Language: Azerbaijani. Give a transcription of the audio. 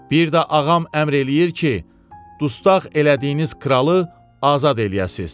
Bir də ağam əmr eləyir ki, dustaq elədiyiniz kralı azad eləyəsiz.